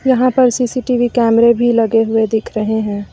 यहां पर सी_सी_टी_वी कैमरे भी लगे हुए दिख रहे हैं।